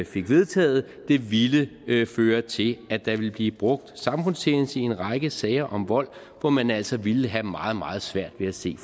fik vedtaget ville føre til at der ville blive brugt samfundstjeneste i en række sager om vold hvor man altså ville have meget meget svært ved at se